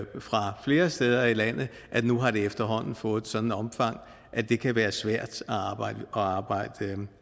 fra flere steder i landet at nu har det efterhånden fået et sådant omfang at det kan være svært at arbejde